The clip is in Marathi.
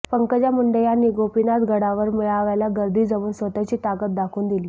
पंकजा मुंडे यांनी गोपीनाथ गडावर मेळाव्याला गर्दी जमवून स्वतःची ताकद दाखवून दिली